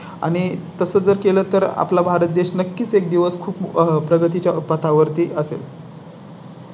आणि तसं जर केलं तर आपला भारत देश नक्कीच एक दिवस खूप प्रगती च्या पथावर ती असेल.